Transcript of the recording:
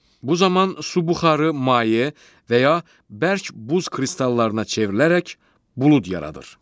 Bu zaman su buxarı maye və ya bərk buz kristallarına çevrilərək bulud yaradır.